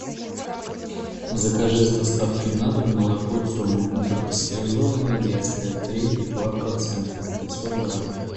закажи с доставкой на дом молоко тема ультрапастеризованное детское три и два процента пятьсот грамм